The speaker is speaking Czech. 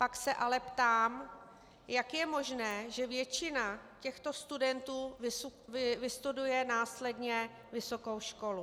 Pak se ale ptám, jak je možné, že většina těchto studentů vystuduje následně vysokou školu.